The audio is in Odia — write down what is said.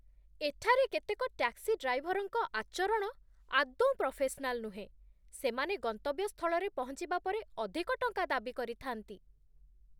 ଏଠାରେ କେତେକ ଟ୍ୟାକ୍ସି ଡ୍ରାଇଭରଙ୍କ ଆଚରଣ ଆଦୌ ପ୍ରଫେସନାଲ୍ ନୁହଁ, ସେମାନେ ଗନ୍ତବ୍ୟସ୍ଥଳରେ ପହଞ୍ଚିବା ପରେ ଅଧିକ ଟଙ୍କା ଦାବି କରିଥାନ୍ତି।